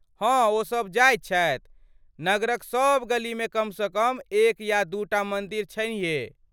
हँ ओ सब जाइत छथि। नगरक सभ गलीमे कम सँ कम एक या दू टा मन्दिर छइहे।